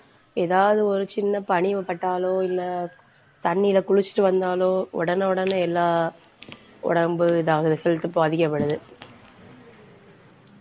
ஏதாவது ஒரு சின்ன பணிவு பட்டாலோ இல்ல தண்ணியில குளிச்சிட்டு வந்தாலோ உடனே, உடனே எல்லா உடம்பு இதாகுது health பாதிக்கப்படுது.